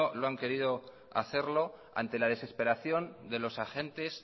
lo han querido hacerlo ante la desesperación de los agentes